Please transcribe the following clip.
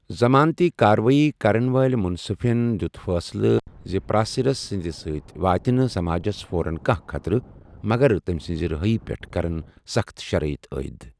ضَمانتٕی کاروٲیی کَرن وٲلہِ مٗنصِفن دِیوٗت فٲصلہٕ زِ پَراسِرس سٕندِ سٕتہِ واتہِ نہٕ سماجس فورن كانہہ خطرٕ، مگر تمہِ سنزِ رِہٲیی پیٹھ كرِن سخت شرٲیط عایِد ۔